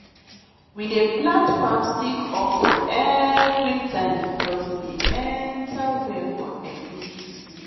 we dey plant palm stick okro every time because e dey enter well for egusi soup